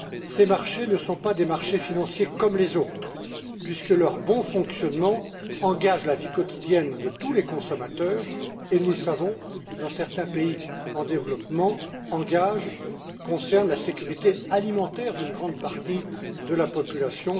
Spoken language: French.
Ces marchés ne sont pas des marchés financiers comme les autres, puisque leur bon fonctionnement engage la vie quotidienne de tous les consommateurs et, nous le savons, dans certains pays en développement, engage, concerne la sécurité alimentaire d'une grande partie de la population.